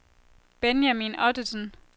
Benjamin Ottesen